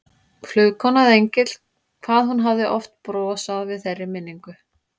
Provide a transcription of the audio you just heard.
Flugkona eða engill, hvað hún hafði oft brosað við þeirri minningu.